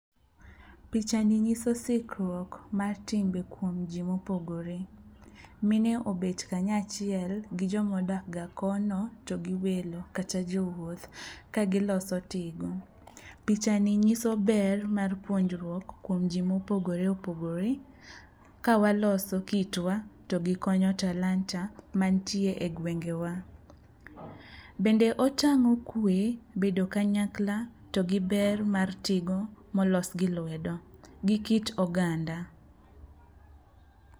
Picha ni nyiso sikruok mar timbe kuom ji mopogore. Mine obet kanyaachiel gi jomodakga kono to gi welo kata jowuoth kagiloso tigo. Pichani nyiso ber mar puonjruok kuom ji mopogore opogore ka waloso kitwa to gi loso talanta mantie e gwengewa. Bende otang'o kwe, bedo kanyakla to gi ber mar tigo molos gi lwedo gi kit oganda.